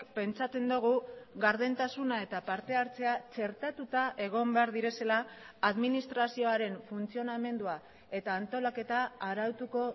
pentsatzen dugu gardentasuna eta partehartzea txertatuta egon behar direla administrazioaren funtzionamendua eta antolaketa arautuko